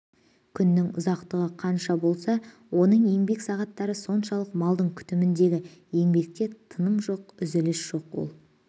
күннің ұзақтығы қанша болса оның еңбек сағаттары соншалық малдың күтіміндегі еңбекте тыным жоқ үзіліс жоқ ол